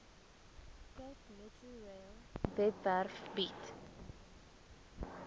capemetrorail webwerf bied